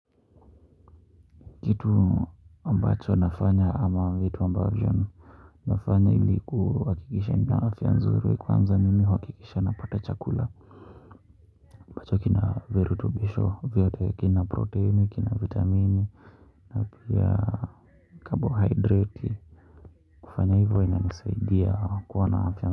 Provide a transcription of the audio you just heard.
Kitu ambacho nafanya ama vitu ambavyo nafanya ilikuhakikisha nina afya nzuri kwanza mimi huhakikisha napata chakula ambacho kina virutubisho vyote kina proteini kina vitamini napia carbohydrate kufanya hivyo ina nisaidia kuwa na afya.